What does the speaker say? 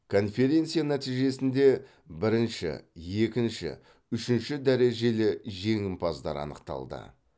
конференция нәтижесінде бірінші екінші үшінші дәрежелі жеңімпаздар анықталды